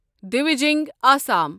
ڈویٖجنگ Assam